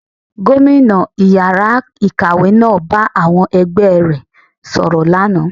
Gómìnà ìyára ikáwe náà bá àwọn ẹgbẹ e rẹ̀ sọ̀rọ̀ lánàá